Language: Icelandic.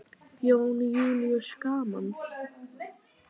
Jón Júlíus: Gaman?